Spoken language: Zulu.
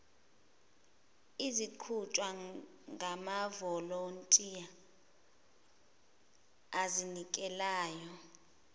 eziqhutshwa ngamavolontiya azinikelayo